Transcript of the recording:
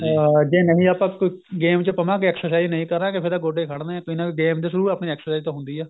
ਹਾਂ ਜੇ ਨਹੀਂ ਆਪਾਂ ਕੋਈ game ਚ ਪਵਾਂਗੇ exercise ਨਹੀਂ ਕਰਾਂਗੇ ਫੇਰ ਤਾਂ ਗੋਡੇ ਖੜਨੇ ਏ ਕੋਈ ਨਾ ਕੋਈ game ਦੇ through ਆਪਣੀ exercise ਤਾਂ ਹੁੰਦੀ ਏ